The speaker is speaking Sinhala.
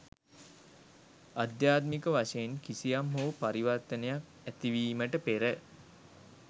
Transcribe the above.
අධ්‍යාත්මික වශයෙන් කිසියම් හෝ පරිවර්තනයක් ඇතිවීමට පෙර